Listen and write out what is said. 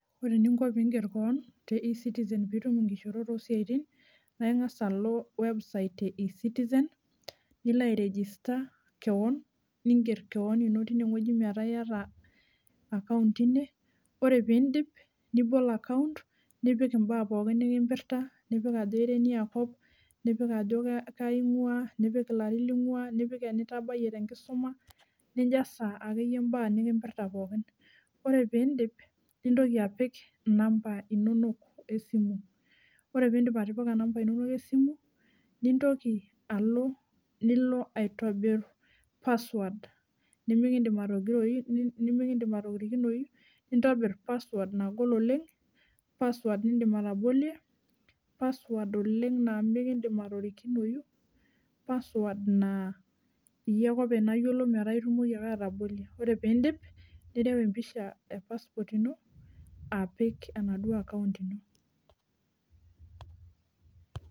Ore ninko piing'er keon te ecitixen piitum nkishorot o siatin, naa ing'as alo website ee ecitizen nilo airegister keon, niinger keon ino teineweji metaa ieta akaunt teine, ore piindip nibl akaunt, nipik imbaa pookin nikimoirta, nipik ajo iniakop, nipik ajo kaji ingua, nipik larin ning'ua nipik enitabaiye te nkisuma, ninjasa ake iyei imbaa nikimpirta pooki, nintoki apik namba inonok esimu, ore piindip atipika namba inonok esimu, nintoki alo nilo aitobirr password nimikiindim atorikinoi, nintobirr apassword nagol oleng, password niindim atobolie, password oleng naa mikindim atorikinoi, password naa iyie ake openy nayiolo metaa itumoki ake atabolie, ore piindim nirau empisha pasupot ino apik enaduo akaunt ino.